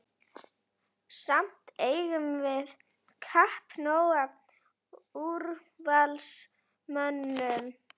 Samt eigum við kappnóg af úrvalsmönnum.